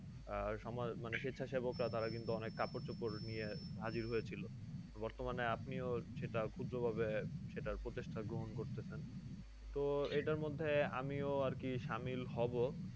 এই সমাজ স্বেচ্ছাসেবকরা তারা অনেক কাপড়-চোপড় নিয়ে হাজির হয়েছিল। বর্তমানে আপনিও সেটা ক্ষুদ্র ভাবে সেটার প্রচেষ্টা গ্রহণ করতেছেন। তো এটার মধ্যে আমিও আর কি শামিল হবো।